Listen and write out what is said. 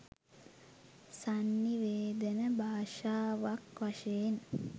සන්නිවේදන භාෂාවක් වශයෙන්